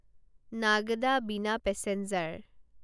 Nagda Bina passenger